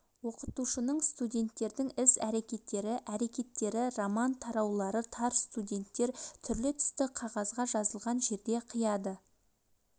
оқытушының студенттердің іс-әрекеттері әрекеттері роман тараулары тар студенттер түрлі түсті қағазға жазылған жерде қияды